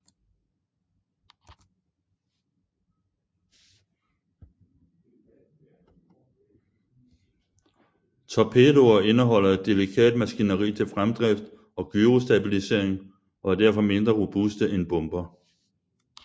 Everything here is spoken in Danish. Torpedoer indeholder et delikat maskineri til fremdrift og gyrostabilisering og er derfor mindre robuste end bomber